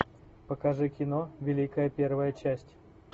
покажи кино великая первая часть